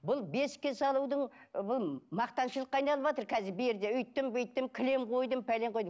бұл бесіккке салудың бұл мақтаншылыққа айналыватыр қазір берді өйттім бүйттім кілем қойдым пәлен қойдым